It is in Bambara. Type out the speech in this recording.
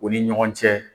U ni ɲɔgɔn cɛ